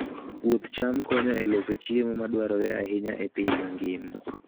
Puoth cham konyo e loso chiemo madwarore ahinya e piny mangima.